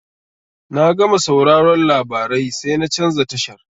Na gama sauraron labarai sai na canza tashar.